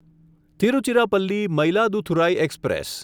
Tiruchirappalli Mayiladuthurai express